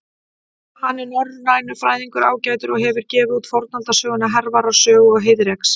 Hann er norrænufræðingur ágætur og hefur gefið út fornaldarsöguna Hervarar sögu og Heiðreks.